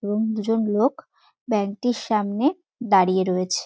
এবং দুজন লোক ব্যাংক টির সামনে দাঁড়িয়ে রয়েছে।